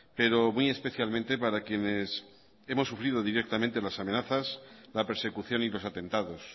pero muy especialmente para quienes hemos sufrido directamente las amenazas la persecución y los atentados